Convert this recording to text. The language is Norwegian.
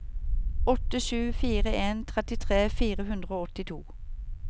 åtte sju fire en trettitre fire hundre og åttito